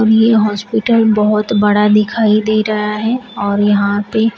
ये हॉस्पिटल बहोत बड़ा दिखाई दे रहा है और यहां पे--